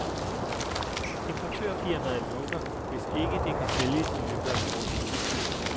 Importørfirmaet lukker hvis ikke det kan sælges i løbet af kort tid.